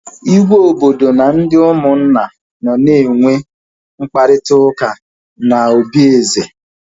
Igwe obodo na ndị ụmụnna nọ na enwe mkparịta ụka na obi eze